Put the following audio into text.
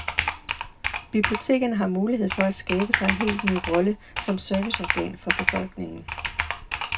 Bibliotekerne har mulighed for at skabe sig en helt ny rolle som serviceorgan for befolkningen.